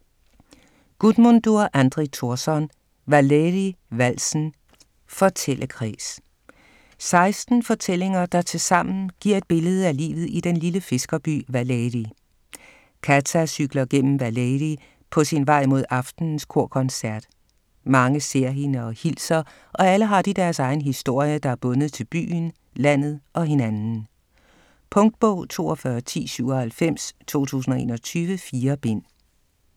Guðmundur Andri Thorsson: Valeyri-valsen: fortællekreds 16 fortællinger, der tilsammen giver et billede af livet i den lille fiskerby Valeyri. Kata cykler gennem Valeyri på sin vej mod aftenens kor-koncert. Mange ser hende og hilser og alle har de deres egen historie, der er bundet til byen, landet - og hinanden. Punktbog 421097 2021. 4 bind.